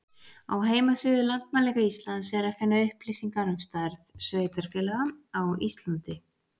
Á heimasíðu Landmælinga Íslands er að finna upplýsingar um stærð sveitarfélaga á Íslandi.